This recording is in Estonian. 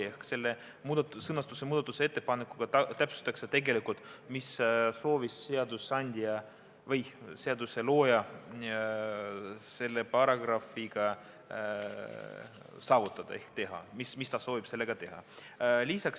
Ehk selle muudatusettepanekuga täpsustatakse tegelikult, mida soovib seaduse looja selle paragrahviga saavutada ehk mida ta soovib sellega teha.